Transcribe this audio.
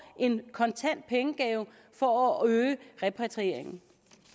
en kontant pengegave for at øge repatrieringen